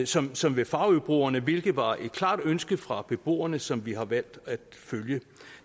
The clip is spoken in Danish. som som ved farøbroerne hvilket var et klart ønske fra beboerne som vi har valgt at følge